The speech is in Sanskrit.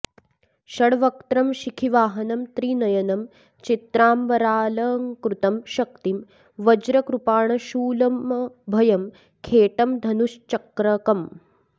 षड्वक्त्रं शिखिवाहनं त्रिनयनं चित्राम्बरालङ्कृतं शक्तिं वज्रकृपाणशूलमभयं खेटं धनुश्चक्रकम्